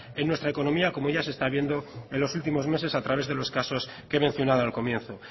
en nuestra economía como ya se está viendo en los últimos meses a través de los casos que he mencionado al comienzo